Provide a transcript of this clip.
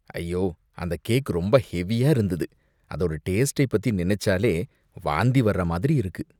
ஐயோ! அந்த கேக் ரொம்ப ஹெவியா இருந்தது, அதோட டேஸ்டை பத்தி நினைச்சாலே வாந்தி வர்ற மாதிரி இருக்கு!